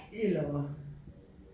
Eller